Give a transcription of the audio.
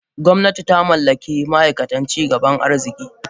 Gwamnati ta mallaki ma aikatan ci gaban arziki.